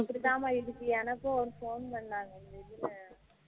இப்படி தான் மா இதுக்கு எனக்கும் ஒரு phone பண்ணுனாங்க இதுல